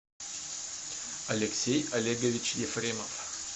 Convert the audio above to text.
алексей олегович ефремов